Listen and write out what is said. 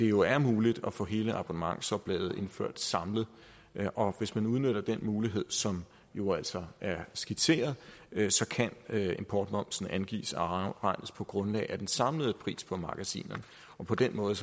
jo er muligt at få hele abonnementsoplaget indført samlet og hvis man udnytter den mulighed som jo altså er skitseret kan importmomsen angives og afregnes på grundlag af den samlede pris på magasinerne på den måde